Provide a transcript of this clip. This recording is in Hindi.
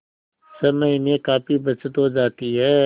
समय में काफी बचत हो जाती है